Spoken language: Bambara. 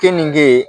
Keninge